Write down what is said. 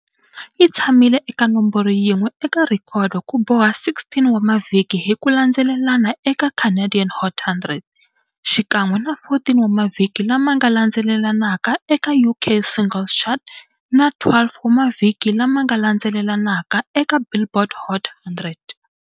Yi tshamile eka nomboro yin'we eka rhekhodo ku boha 16 wa mavhiki hi ku landzelelana eka Canadian Hot 100, xikan'we na 14 wa mavhiki lama nga landzelelanaka eka UK Singles Chart, na 12 wa mavhiki lama nga landzelelanaka eka Billboard Hot 100.